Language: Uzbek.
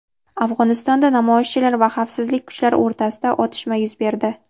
Afg‘onistonda namoyishchilar va xavfsizlik kuchlari o‘rtasida otishma yuz berdi.